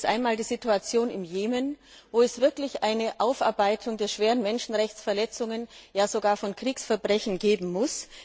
Das ist einmal die Situation im Jemen, wo es wirklich eine Aufarbeitung der schweren Menschenrechtsverletzungen, ja sogar von Kriegsverbrechen geben muss.